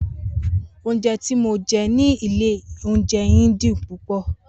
Ounjé ti mó jé ní ìlé ounjé yen dun púpõ